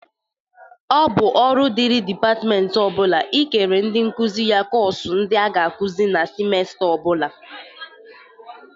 Ọ bụ ọrụ dịri dịpatmentị ọ bụla ị kere ndị nkuzi ya kọs ndị a ga-akụzị na simesta ọ bụla.